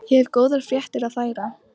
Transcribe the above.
Ég hef góðar fréttir að færa.